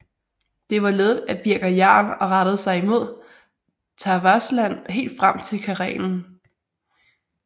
Det var ledet af Birger Jarl og rettede sig imod Tavastland helt frem til Karelen